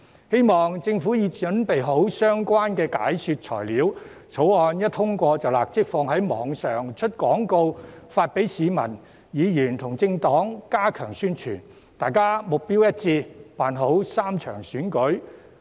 希望政府準備好相關的解說材料，《條例草案》一旦通過便立即上載網頁、推出廣告，並發送給市民、議員和政黨，加強宣傳，以便大家能目標一致地辦好3場選舉。